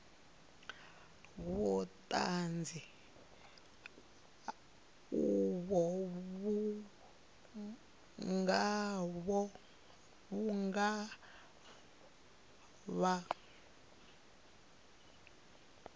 vhuṱanzi uvho vhu nga vha